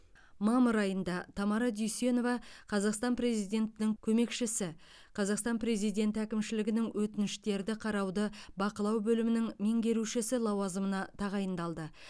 мамыр айында тамара дүйсенова қазақстан президентінің көмекшісі қазақстан президенті әкімшілігінің өтініштерді қарауды бақылау бөлімінің меңгерушісі лауазымына тағайындалды